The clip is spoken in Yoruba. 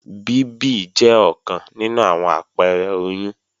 Bíbì jẹ́ ọ̀kan nínú àwọn àpẹrẹ oyún